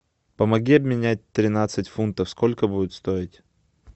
помоги обменять тринадцать фунтов сколько будет стоить